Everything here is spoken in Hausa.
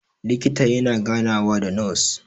likita yana ganawa da nos